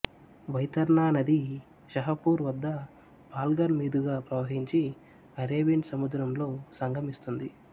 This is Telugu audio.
వైతర్నా నది షహపూర్ వదా పాల్ఘర్ మీదుగా ప్రవహించి అరేబియన్ సముద్రంలో సంగమిస్తుంది